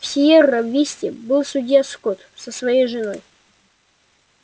в сиерра висте был судья скотт со своей женой